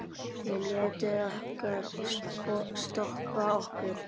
Við létum ekkert stoppa okkur.